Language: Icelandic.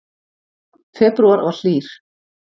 Febrúar var hlýr